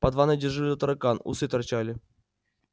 под ванной дежурил таракан усы торчали